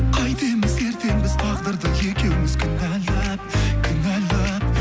қайтеміз ертең біз тағдырды екеуіміз кінәлап кінәлап